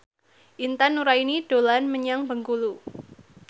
Intan Nuraini dolan menyang Bengkulu